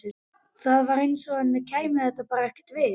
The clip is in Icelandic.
Það var eins og henni kæmi þetta bara ekkert við.